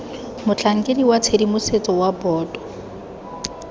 motlhankedi wa tshedimosetso wa boto